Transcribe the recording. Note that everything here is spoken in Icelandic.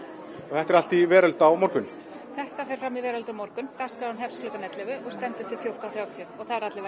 þetta er allt í veröld á morgun þetta fer fram í Veröld á morgun dagskráin hefst klukkan ellefu og stendur til fjórtán þrjátíu og allir